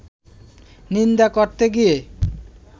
নিন্দা করতে গিয়ে